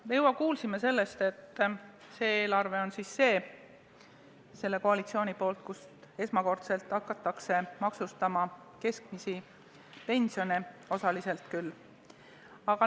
Me juba kuulsime, et selle koalitsiooni eelarves hakatakse esmakordselt maksustama keskmist pensioni, osaliselt küll.